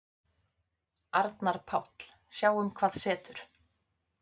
Arnar Páll: Sjáum hvað setur.